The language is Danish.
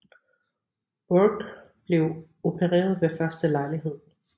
Bourke blev opereret ved første lejlighed